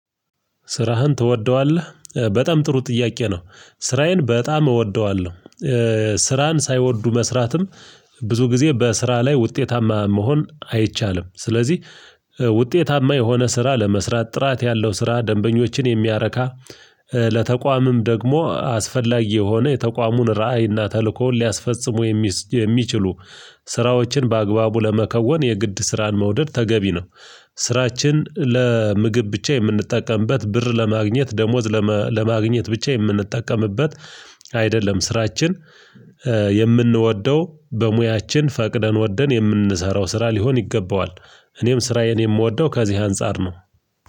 ስራህን ትወደዋለህ? በጣም ጥሩ ጥያቄ ነው። ስራዬን በጣም እወደዋለሁ ስራን ሳይወዱ መስራትም ብዙ ጊዜ በስራ ላይ ውጤታማ መሆን አይቻልም ስለዚህ ውጤታማ የሆነ ስራ ለመስራት ጥራት ያለው ስራ ደንበኞችን የሚያረካ ለተቋምም ደግሞ አስፈላጊ የሆነ የተቋሙን ራዕይና ተልእኮውን ሊያስፈጽሙ የሚችሉ ስራዎችን በአግባቡ ለመከወን የግድ ስራን መውደድ ተገቢ ነው ስራችን ለምግብ ብቻ የምንጠቀምበት ብር ለማግኘት ደሞዝ ለማግኘት ብቻ የምንጠቀምበት አይደለም። ስራችን የምንወደው በሙያችን ፈቅደን ወደን የምንሰራው ስራ ሊሆን ይገባዋል። እኔም ስራዬን የምወደው ከዚህ አንፃር ነው።